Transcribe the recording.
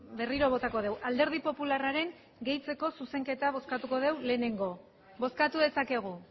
berriro botako dugu alderdi popularraren gehitzeko zuzenketa bozkatuko dugu lehenengo bozkatu dezakegu